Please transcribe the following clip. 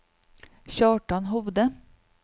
Kjartan Hovde